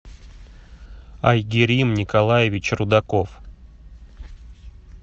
айгерим николаевич рудаков